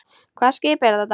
Hvaða skip er þetta?